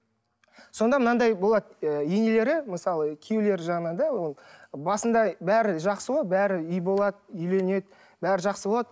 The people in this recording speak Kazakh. сонда мынандай болады ы енелері мысалы күйеулері жағынан да ол басында бәрі жақсы болады бәрі үй болады үйленеді бәрі жақсы болады